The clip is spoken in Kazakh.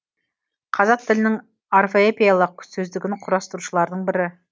қазақ тілінің орфоэпиялық сөздігін құрастырушылардың бірі